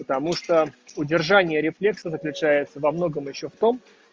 потому что удержание рефлекс отличается во многом ещё в том